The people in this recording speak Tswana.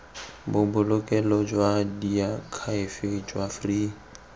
bobolokelo jwa diakhaefe jwa free